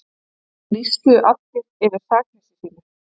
Lýstu allir yfir sakleysi sínu